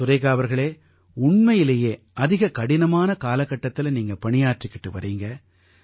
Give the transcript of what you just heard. சுரேகா அவர்களே உண்மையிலேயே அதிக கடினமான காலகட்டத்தில நீங்க பணியாற்றிக்கிட்டு வர்றீங்க